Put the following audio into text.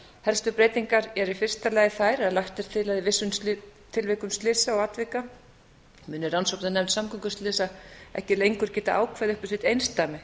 helstu breytingar eru í fyrsta lagi þær að lagt er til að í vissum tilvikum slysa og atvika muni rannsóknarslys samgönguslysa ekki lengur geta ákveðið upp á sitt einsdæmi